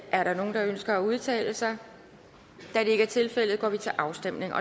er der nogen der ønsker at udtale sig da det ikke er tilfældet går vi til afstemning